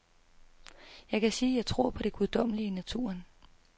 Jeg kan sige, at jeg tror på det guddommelige i naturen.